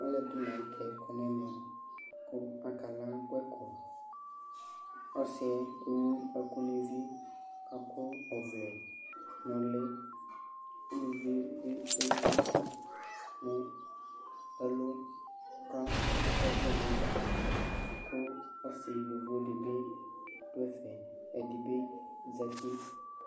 Alʋɛdɩnɩ la nʋ tɛ kɔ n'ɛmɛ kʋ akala gbɛkɔ : ɔsɩ ewu ɛkʋ n'evi, k'akɔ ɔvlɛ n'ʋlɩ ; uluvie bi ewu duku nʋ ɛlʋ ka akɔ ɔvlɛ n'ɛgbata , kʋ ɔsɩ edigbodɩ bɩ dʋ ɛfɛ , ɛdɩ bɩ zati